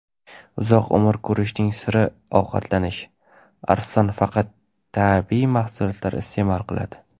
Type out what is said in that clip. uzoq umr ko‘rishning siri ovqatlanish: Arslon faqat tabiiy mahsulotlar iste’mol qiladi.